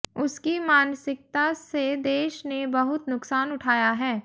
उसकी मानसिकता से देश ने बहुत नुकसान उठाया है